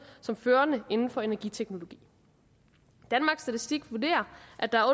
som førende inden for energiteknologi danmarks statistik vurderer at der er